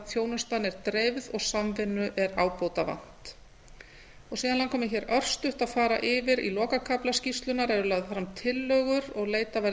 þjónustan er dreifð og samvinnu er ábótavant síðan langar mig hér örstutt að fara yfir í lokakafla skýrslunnar eru lagðar fram tillögur og sérstaklega